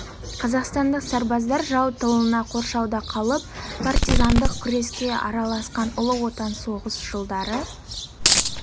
қазақстандық сарбаздар жау тылында қоршауда қалып партизандық күреске араласқан ұлы отан соғысы жылдары